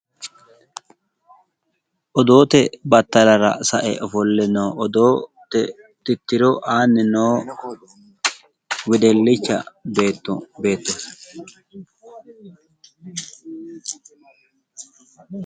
Odootte battalara sae ofolle no odootte tittiro aanni noo wedellicha beettooti.